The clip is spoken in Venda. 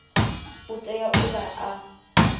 u tea u vha a